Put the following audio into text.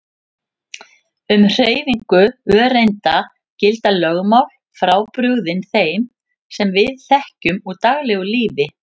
Um hreyfingu öreinda gilda lögmál frábrugðin þeim sem við þekkjum úr daglegu lífi.